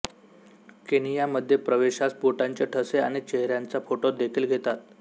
Kenya मध्ये प्रवेशास बोटांचे ठसे आणि चेहऱ्याचा फोटो देखील घेतात